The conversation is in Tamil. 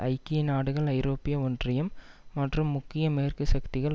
ஐக்கிய நாடுகள் ஐரோப்பிய ஒன்றியம் மற்றும் முக்கிய மேற்குசக்திகள்